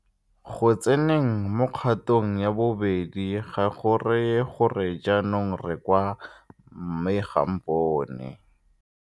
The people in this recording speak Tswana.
Go tseneng mo kgatong ya bobedi ga go raye gore jaanong re kwa 'mme ga a mpone.'